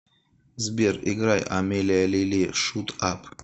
сбер играй амелия лили шут ап